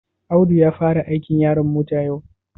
Audu ya fara aikin yaron mota yau?